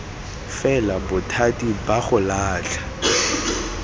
fela bothati ba go latlha